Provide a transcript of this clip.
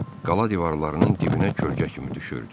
Qala divarlarının dibinə kölgə kimi düşürdü.